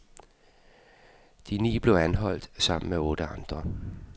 De ni blev anholdt sammen med otte andre.